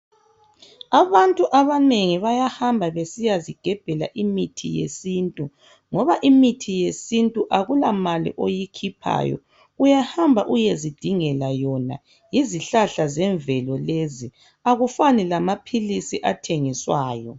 Abantu abanengi bayahamba besiyazigebhela imithi yesintu, ngoba imithi yesintu akula mali oyikhiphayo uyahamba uyezidingela yona yizihlahla zemvelo lezi, akufani lamaphilizi athengiswayo.